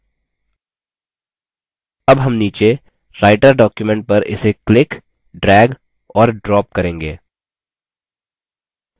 अब हम नीचे writer document पर इसे click drag और drop करेंगे